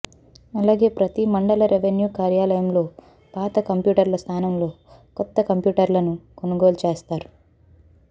అలాగే ప్రతి మండల రెవిన్యూ కార్యాలయంలో పాత కంప్యూటర్ల స్థానంలో కొత్త కంప్యూటర్లను కొనుగోలుచేస్తారు